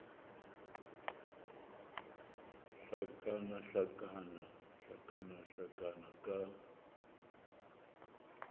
hlakana hlakana hlakana hlakana ka